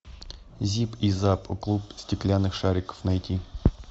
зип и зап клуб стеклянных шариков найти